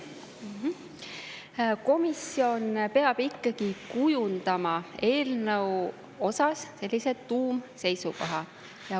Komisjon peab ikkagi eelnõu puhul kujundama sellised tuumseisukohad.